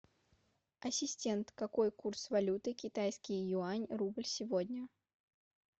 ассистент какой курс валюты китайский юань рубль сегодня